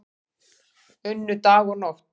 Unnu dag og nótt